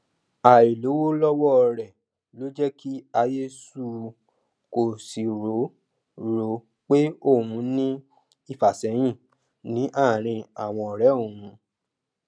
àìlówó lọwọ rẹ ló jẹ kí ayé suu kó sì rò rò pé òun ní ìfàsẹyìn ní àárín àwọn ọrẹ òun